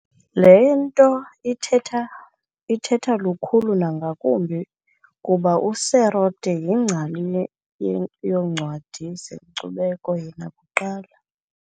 Le nto ithetha lukhulu nangakumbi kuba uSerote yingcali yoncwadi nezenkcubeko yena kuqala.